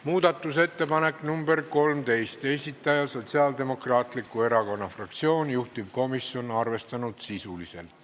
Muudatusettepaneku nr 13 esitaja on Sotsiaaldemokraatliku Erakonna fraktsioon, juhtivkomisjon on arvestanud sisuliselt.